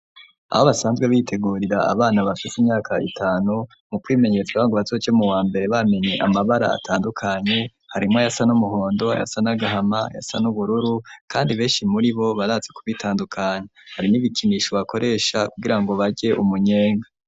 Aho basanzwe bitegurira abana bafise imyaka itanu mu kwimenyeza ngo bazoje mu wa mbere bamenye amabara atandukanye harimwo ayasa n'umuhondo ayasa n'agahama ayasa n'ubururu kandi beshi muri bo barazi ku bitandukanya hari n'ibikinisho bakoresha kugira ngo barye umunyenga.